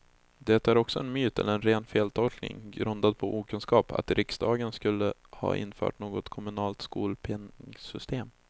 Det är också en myt, eller en ren feltolkning grundad på okunskap, att riksdagen skulle ha infört något kommunalt skolpengsystem.